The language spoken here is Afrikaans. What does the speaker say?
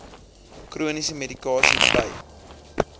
chroniese medikasie by